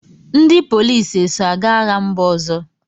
Ndị polisi eso aga agha mba ọzọ?